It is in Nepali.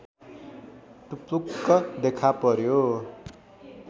टुप्लुक्क देखापर्‍यो